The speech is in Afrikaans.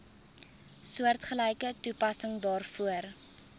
soortgelyke toepassing daarvoor